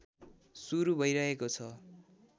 सुरु भइरहेको छ